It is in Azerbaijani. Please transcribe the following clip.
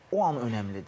O an önəmlidir.